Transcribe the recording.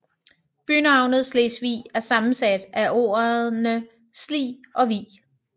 Bynavnet Slesvig er sammensat af ordene Sli og Vig